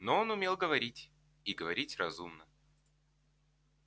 но он умел говорить и говорить разумно